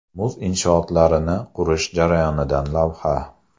Muz inshootlarini qurish jarayonidan lavha.